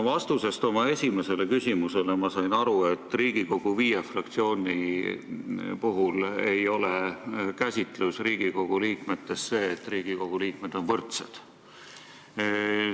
Vastusest oma esimesele küsimusele sain ma aru, et Riigikogu viie fraktsiooni käsitlus ei ole see, et kõik Riigikogu liikmed on võrdsed.